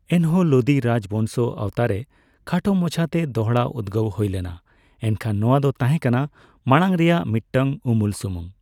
ᱮᱱᱦᱚᱸ ᱞᱳᱫᱤ ᱨᱟᱡᱽᱵᱚᱝᱥᱚ ᱟᱣᱛᱟᱨᱮ ᱠᱷᱟᱴᱚ ᱢᱟᱪᱷᱟᱛᱮ ᱫᱚᱦᱲᱟ ᱩᱫᱜᱟᱹᱣ ᱦᱳᱭ ᱞᱮᱱᱟ ᱮᱱᱠᱷᱟᱱ ᱱᱚᱣᱟ ᱫᱚ ᱛᱟᱦᱮᱸ ᱠᱟᱱᱟ ᱢᱟᱲᱟᱝ ᱨᱮᱭᱟᱜ ᱢᱤᱫᱴᱟᱝ ᱩᱢᱩᱞ ᱥᱩᱢᱩᱝ ᱾